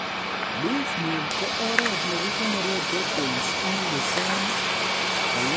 Leaf meal ko oret nekikonoree proteins eng Lucerne, Calliandra, vetch ak Dolichos